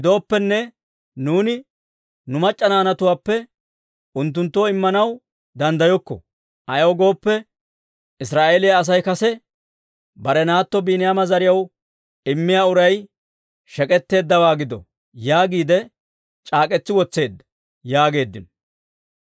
Gidooppenne, nuuni nu mac'c'a naanatuwaappe unttunttoo Immanaw danddayokko; ayaw gooppe, Israa'eeliyaa Asay kase, ‹Bare naatto Biiniyaama zariyaw immiyaa uray shek'etteeddawaa gido› yaagiide c'aak'k'etsi wotseedda» yaageeddino.